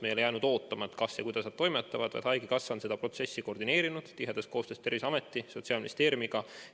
Me ei ole jäänud ootama, kas ja kuidas nad toimetavad, vaid haigekassa on seda protsessi koordineerinud tihedas koostöös Terviseameti ja Sotsiaalministeeriumiga.